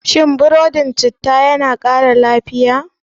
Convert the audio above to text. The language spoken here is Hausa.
Shin gingerbread yana kara lafiya?